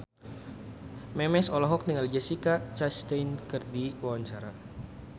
Memes olohok ningali Jessica Chastain keur diwawancara